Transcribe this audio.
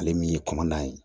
Ale min ye kɔnɔna ye